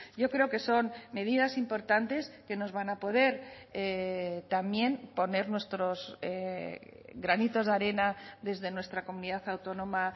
yo creo que son medidas importantes que nos van a poder también poner nuestros granitos de arena desde nuestra comunidad autónoma